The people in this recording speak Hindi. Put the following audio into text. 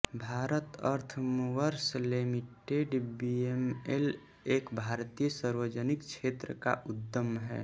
Bharat Earth Movers Limited BEML एक भारतीय सार्वजनिक क्षेत्र का उद्यम है